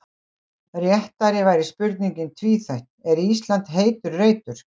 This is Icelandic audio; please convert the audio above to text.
Réttari væri spurningin tvíþætt: Er Ísland heitur reitur?